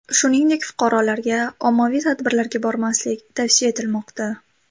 Shuningdek, fuqarolarga ommaviy tadbirlarga bormaslik tavsiya etilmoqda .